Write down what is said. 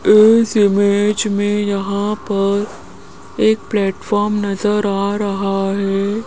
इस इमेज में यहां पर एक प्लेटफॉर्म नजर आ रहा हैं।